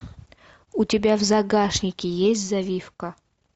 у тебя в загашнике есть завивка